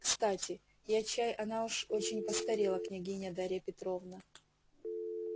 кстати я чай она уж очень постарела княгиня дарья петровна